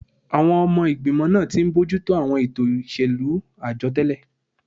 Àwọn ọmọ ìgbìmọ̀ náà ti ń bójú tó àwọn ètò ìṣèlú àjọ tẹ́lẹ̀